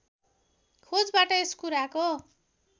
खोजबाट यस कुराको